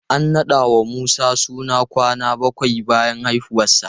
An naɗa wa Musa suna kwana bakwai bayan haifuwarsa.